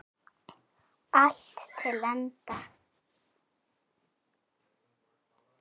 Allt til enda.